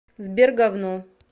сбер гавно